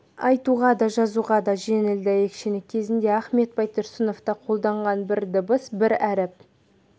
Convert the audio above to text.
айтуға да жазуға да жеңіл дәйекшені кезінде ахмет байтұрсынов та қолданған бір дыбыс бір әріп